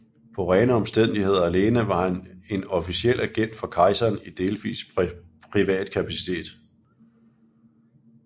På rene omstændigheder alene var han en officiel agent for kejseren i delvis privat kapacitet